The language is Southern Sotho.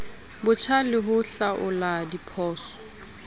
botjha le ho hlaola diphoso